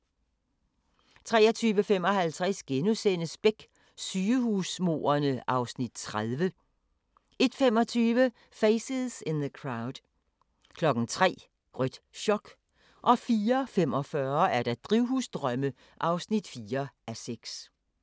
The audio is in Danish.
23:55: Beck: Sygehusmordene (Afs. 30)* 01:25: Faces in the Crowd 03:00: Rødt chok 04:45: Drivhusdrømme (4:6)